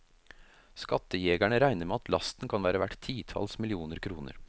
Skattejegerne regner med at lasten kan være verdt titalls millioner kroner.